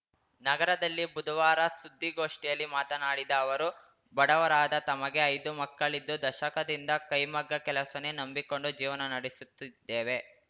ನಗರದಲ್ಲಿ ಬುದುವಾರ ಸುದ್ದಿಗೋಷ್ಠಿಯಲ್ಲಿ ಮಾತನಾಡಿದ ಅವರು ಬಡವರಾದ ತಮಗೆ ಐದು ಮಕ್ಕಳಿದ್ದು ದಶಕದಿಂದ ಕೈಮಗ್ಗ ಕೆಲಸವನ್ನೇ ನಂಬಿಕೊಂಡು ಜೀವನ ನಡೆಸುತ್ತಿದ್ದೇವೆ